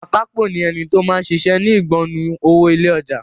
Akápò ni ẹni tó máa ń ṣiṣẹ́ ni ìgbọnnu owó ilé ọjà.